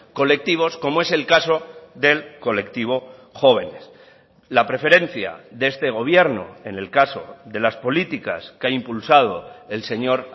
colectivos como es el caso del colectivo jóvenes la preferencia de este gobierno en el caso de las políticas que ha impulsado el señor